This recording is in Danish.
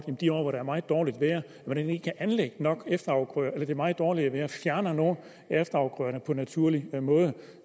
i de år hvor der er meget dårligt vejr og man ikke kan anlægge nok efterafgrøder eller det meget dårlige vejr fjerner nogle af efterafgrøderne på naturlig måde